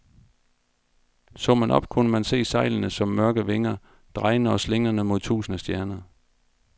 Så man op, kunne man se sejlene som mørke vinger, drejende og slingrende mod tusinde stjerner.